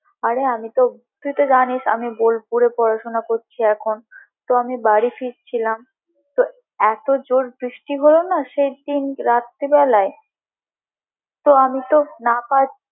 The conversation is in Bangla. অরে তুই তো জানিস আমি বোলপুরে পড়াশুনা করছি এখন তো আমি বাড়ি ফিরছিলাম তো এতো জোর বৃষ্টি হলো না সেইদিন রাত্রি বেলায়, হ্যাঁ! হ্যাঁ! হ্যাঁ! তো আমি তো না।